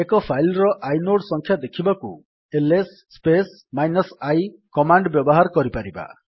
ଏକ ଫାଇଲ୍ ର ଆଇନୋଡ୍ ସଂଖ୍ୟା ଦେଖିବାକୁ ଏଲଏସ୍ ସ୍ପେସ୍ -i କମାଣ୍ଡ୍ ବ୍ୟବହାର କରିପାରିବା